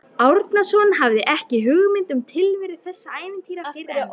Árnason hafði ekki hugmynd um tilveru þessara ævintýra fyrr en